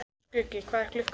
Skuggi, hvað er klukkan?